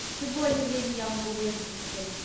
в любое ли время я могу выехать из отеля